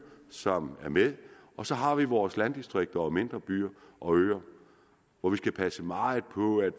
som er med og så har vi vores landdistrikter og mindre byer og øer hvor vi skal passe meget på at